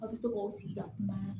Aw bɛ se k'o sigi ka kuma